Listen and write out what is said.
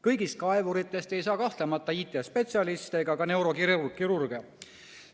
Kõigist kaevuritest ei saa kahtlemata IT‑spetsialiste ega neurokirurge.